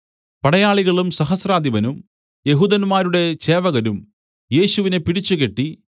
പടയാളികളും സഹസ്രാധിപനും യെഹൂദന്മാരുടെ ചേവകരും യേശുവിനെ പിടിച്ചുകെട്ടി